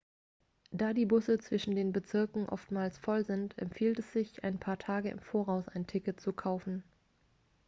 da die busse zwischen den bezirken oftmals voll sind empfiehlt es sich ein paar tage im voraus ein ticket zu kaufen